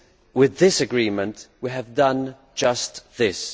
With this agreement, we have done just this.